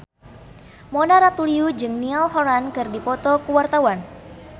Mona Ratuliu jeung Niall Horran keur dipoto ku wartawan